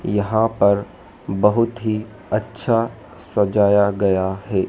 यहां पर बहुत ही अच्छा सजाया गया है।